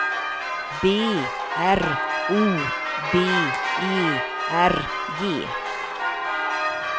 B R O B E R G